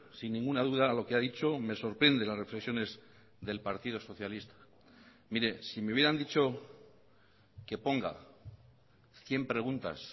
sin ninguna duda lo que ha dicho me sorprende las reflexiones del partido socialista mire si me hubieran dicho que ponga cien preguntas